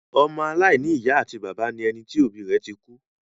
Ọmọ aláìní ìyá àti bàbá ni ẹni tí òbí rẹ ti kú.